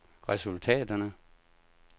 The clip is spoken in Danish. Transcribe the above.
resultaterne